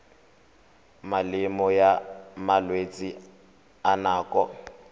melemo ya malwetse a nako